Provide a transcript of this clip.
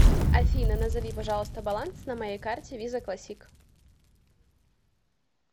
афина назови пожалуйста баланс на моей карте виза классик